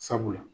Sabula